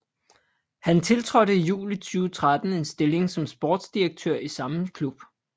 Han tiltrådte i juli 2013 en stilling som sportsdirektør i samme klub